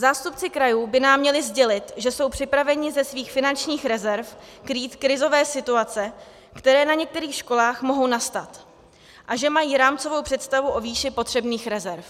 Zástupci krajů by nám měli sdělit, že jsou připraveni ze svých finančních rezerv krýt krizové situace, které na některých školách mohou nastat, a že mají rámcovou představu o výši potřebných rezerv.